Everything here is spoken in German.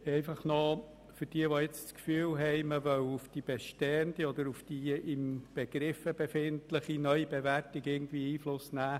Und noch etwas für diejenigen, die nun das Gefühl haben, man wolle irgendwie Einfluss auf die bestehende oder die sich in Begriff befindliche Neubewertung nehmen: